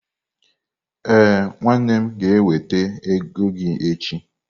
Ee, nwannem ga-eweta ego gi echi.